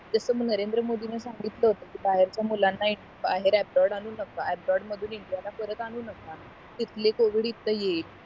तस नरेंद्र मोदी ने सांगितलं होत कि बाहेरच मुलंना बाहेर अब्रोड़ अनु नका अब्रोड़ मधून इंडियाला परत अनु नका तिथलं covid इथे येईल